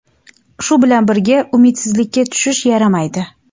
Shu bilan birga, umidsizlikka tushish yaramaydi.